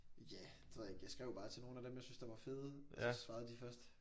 Ja det ved jeg ikke jeg skrev bare til nogle af dem jeg syntes det var fede og så svarede de først